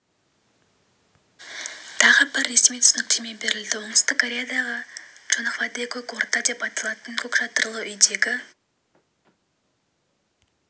тағы бір ресми түсініктеме берілді оңтүстік кореяда чонхвадэ көк орда деп аталатын көк шатырлы үйдегі